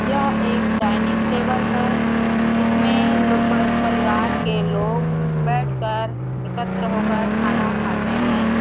यह एक dining table है इसमें लो परिवार के लोग बैठ कर एकत्र होकर खाना खाते है।